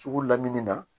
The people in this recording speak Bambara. Sugu lamini na